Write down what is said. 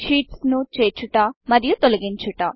sheets ను చేర్చుట మరియు తొలగించుట